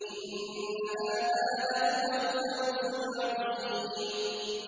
إِنَّ هَٰذَا لَهُوَ الْفَوْزُ الْعَظِيمُ